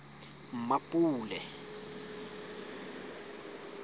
mmapule